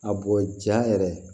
A bɔ ja yɛrɛ